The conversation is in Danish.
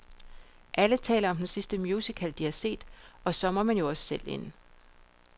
Alle taler om den sidste musical, de har set, og så må man jo også selv ind.